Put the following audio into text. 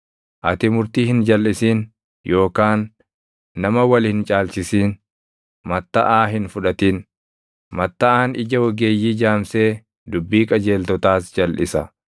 Ati murtii hin jalʼisin yookaan nama wal hin caalchisin. Mattaʼaa hin fudhatin; mattaʼaan ija ogeeyyii jaamsee dubbii qajeeltotaas jalʼisa.